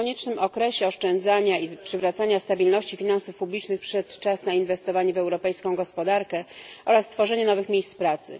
Po koniecznym okresie oszczędzania i przywracania stabilności finansów publicznych przyszedł czas na inwestowanie w europejską gospodarkę oraz tworzenie nowych miejsc pracy.